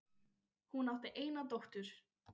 Hún átti eina dóttur.